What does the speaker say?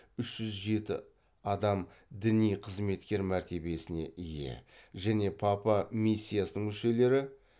үш жүз жеті адам діни қызметкер мәртебесіне ие және папа миссиясының мүшелері